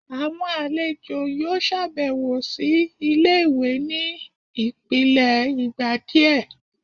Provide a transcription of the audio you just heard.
awọn alejo yóò ṣabẹwo si ìlé-ìwé ní ipilẹ ìgbà diẹ